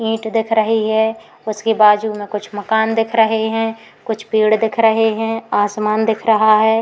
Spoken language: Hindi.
ईंट दिख रही है। उसके बाजू में कुछ मकान दिख रहे हैं। कुछ पेड़ दिख रहा हैं। आसमान दिख रहा है।